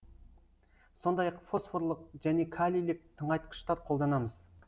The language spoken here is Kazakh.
сондай ақ фосфорлы және калийлік тыңайтқыштар қолданамыз